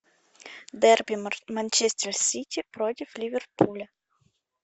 дерби манчестер сити против ливерпуля